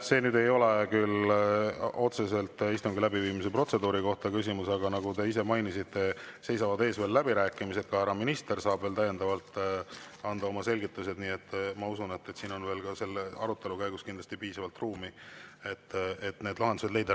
See nüüd ei ole küll otseselt istungi läbiviimise protseduuri kohta, aga nagu te ise mainisite, seisavad ees veel läbirääkimised, ka härra minister saab veel täiendavalt anda oma selgitused, nii et ma usun, et siin on veel ka selle arutelu käigus kindlasti piisavalt ruumi, et need lahendused leida.